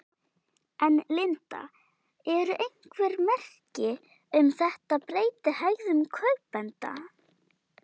En Linda eru einhver merki um þetta breyti hegðun kaupenda?